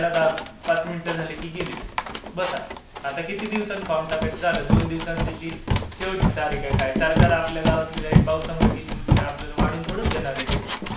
भरायला पाच मिनिटे झाली कि गेली लाईट. बसा. आता किती दिवसांनी फॉर्म टाकायचा. झालं दोन दिवसांनी त्याची शेवटची तारीख आहे. काय आपल्या गावातली लाईट पावसामुळे गेली म्हणून आपल्याला. वाढवून थोडी देणार आहे डेट.